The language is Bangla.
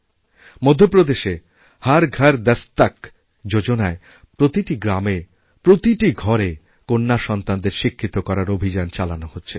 মধ্যপ্রদেশে হর ঘর দস্তক যোজনায় প্রতিটি গ্রামেপ্রতিটি ঘরে কন্যাসন্তানদের শিক্ষিত করার অভিযান চালানো হচ্ছে